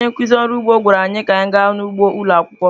Onye nkụzi ọrụ ugbo gwara anyị ka anyị gaa n’ugbo ụlọ akwụkwọ.